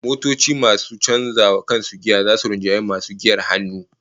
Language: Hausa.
Motoci masu canza wa kansu giya zasu rinjayi masu giyar hannu